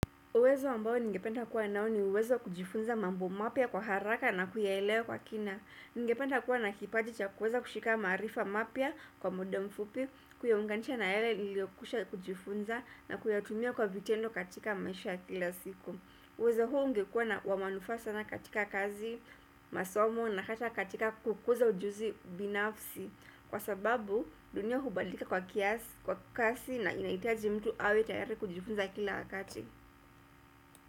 Uwezo ambao ningependa kuwa nao ni uwezo kujifunza mambo mapya kwa haraka na kuyaelewa kwa kina. Ningependa kuwa na kipaji cha kuweza kushika maarifa mapya kwa mudamfupi, kuyaunganisha na yale niliokwisha kujifunza na kuyatumia kwa vitendo katika maisha kila siku. Uwezo huo ungekuwa na wa manufaa sana katika kazi, masomo na hata katika kukuza ujuzi binafsi. Kwa sababu dunia hubadilika kwa kiasi, kwa kasi na inahitaji mtu awe tayari kujifunza kila wakati.